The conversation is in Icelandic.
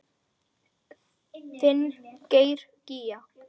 Þinn Geir Gígja.